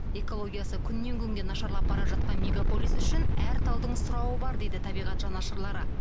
экологиясы күннен күнге нашарлап бара жатқан мегаполис үшін әр талдың сұрауы бар дейді табиғат жанашырлары